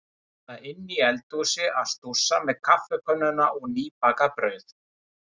Eða inni í eldhúsi að stússa með kaffikönnuna og nýbakað brauð.